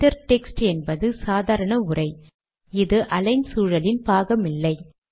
inter text என்பது சாதாரண உரை இது அலிக்ன் சூழலின் பாகமில்லை